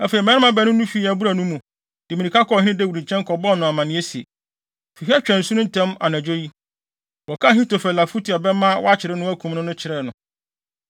Afei mmarima baanu no fii abura no mu, de mmirika kɔɔ ɔhene Dawid nkyɛn kɔbɔɔ no amanneɛ se, “Fi ha twa asu no ntɛm anadwo yi!” Wɔkaa Ahitofel afotu a ɛbɛma wɔakyere no akum no no kyerɛɛ no.